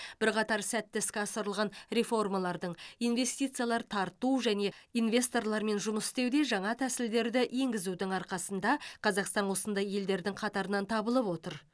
бірқатар сәтті іске асырылған реформалардың инвестициялар тарту және инвесторлармен жұмыс істеуде жаңа тәсілдерді енгізудің арқасында қазақстан осындай елдердің қатарынан табылып отыр